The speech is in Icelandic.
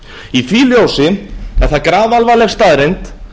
í því ljósi er það grafalvarleg staðreynd